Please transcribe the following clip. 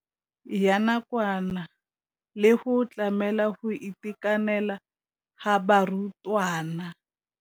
ya nakwana le go tlamela go itekanela ga barutwana.